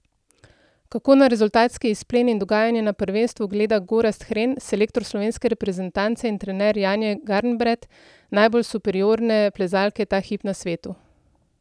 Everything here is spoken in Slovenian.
Kako na rezultatski izplen in dogajanje na prvenstvu gleda Gorazd Hren, selektor slovenske reprezentance in trener Janje Garnbret, najbolj superiorne plezalke ta hip na svetu?